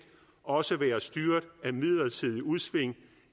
også vil være styret af midlertidige udsving